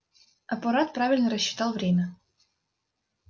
аппарат правильно рассчитал время